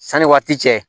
Sanni waati cɛ